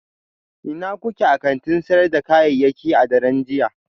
Ina kuke a kantin sayar da kayayyaki a daren jiya?